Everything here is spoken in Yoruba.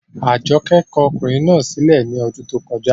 Àjọkẹ́ kọ ọkùnrin náà sí lẹ̀ ní ọdún tó kọjá